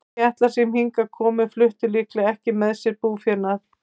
Þeir Keltar sem hingað komu fluttu líklega ekki með sér búfénað.